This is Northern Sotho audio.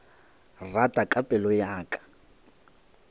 rata ka pelo ya ka